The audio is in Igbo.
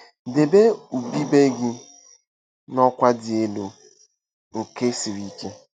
◇ Debe ubube gị n'ọkwa dị elu nke siri ike.